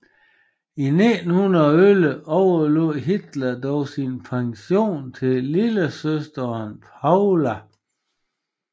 I 1911 overlod Hitler dog sin pension til lillesøsteren Paula